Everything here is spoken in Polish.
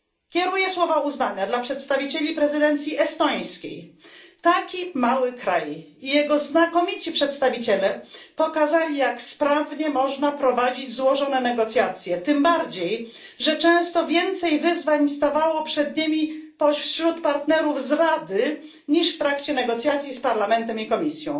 Kieruję słowa uznania do przedstawicieli prezydencji estońskiej taki mały kraj i jego znakomici przedstawiciele pokazali, jak sprawnie można prowadzić złożone negocjacje, tym bardziej że często więcej wyzwań stawało przed nimi wśród partnerów z Rady niż w trakcie negocjacji z Parlamentem i Komisją.